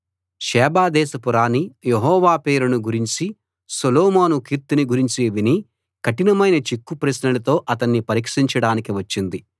షేబదేశపు రాణి యెహోవా పేరును గురించీ సొలొమోను కీర్తిని గురించీ విని కఠినమైన చిక్కు ప్రశ్నలతో అతణ్ణి పరీక్షించడానికి వచ్చింది